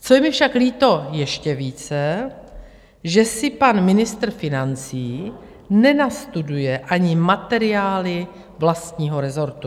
Co je mi však líto ještě více, že si pan ministr financí nenastuduje ani materiály vlastního rezortu.